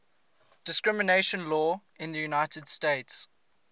discrimination law in the united states